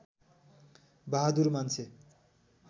बहादुर मान्छे